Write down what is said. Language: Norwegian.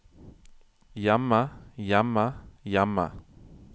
hjemme hjemme hjemme